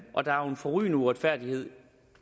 forrygende uretfærdighed